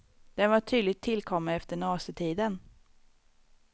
Den var tydligt tillkommen efter nazitiden.